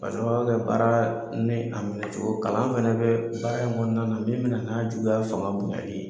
K'a sababu kɛ baara minɛ cogo ye, kalan fana bɛ baara in kɔnɔna na min bɛna n'a juguya fanga b onyali.